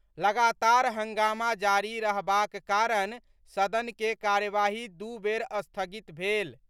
लगातार हंगामा जारी रहबाक कारण सदन के कार्यवाही दू बेर स्थगित भेल।